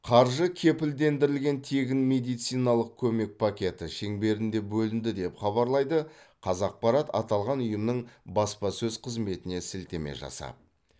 қаржы кепілдендірілген тегін медициналық көмек пакеті шеңберінде бөлінді деп хабарлайды қазақпарат аталған ұйымның баспасөз қызметіне сілтеме жасап